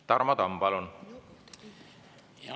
Tarmo Tamm, palun!